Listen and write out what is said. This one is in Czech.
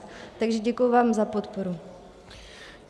Takže děkuji vám za podporu.